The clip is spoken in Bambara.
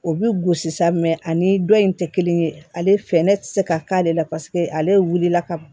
O bi gosi sa mɛ ani dɔ in tɛ kelen ye ale fɛ ne tɛ se ka k'ale la ale wulila ka ban